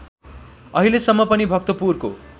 अहिलेसम्म पनि भक्तपुरको